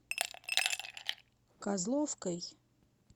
козловкой